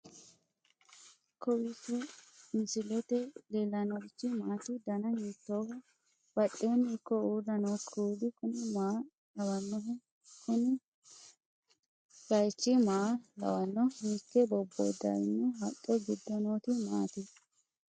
kowiicho misilete leellanorichi maati ? dana hiittooho ?abadhhenni ikko uulla noohu kuulu kuni maa lawannoho? kuni baychu maa lawanno hiikke bobboodaawino haqqe giddo nooti maati